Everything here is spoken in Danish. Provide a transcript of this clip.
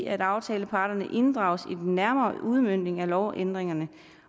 at aftaleparterne inddrages i den nærmere udmøntning af lovændringerne